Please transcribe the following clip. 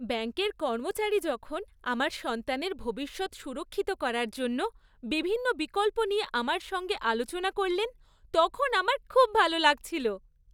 ব্যাঙ্কের কর্মচারী যখন আমার সন্তানের ভবিষ্যৎ সুরক্ষিত করার জন্য বিভিন্ন বিকল্প নিয়ে আমার সঙ্গে আলোচনা করলেন, তখন আমার খুব ভাল লাগছিল।